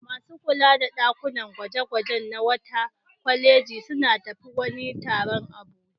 Masu kula da ɗakunan gwaje-gwaje na wata kwaleji sun tafi wani taro a Abuja.